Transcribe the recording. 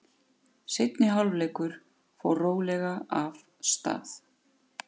Seinni hálfleikur fór rólega af stað.